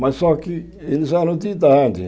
Mas só que eles eram de idade.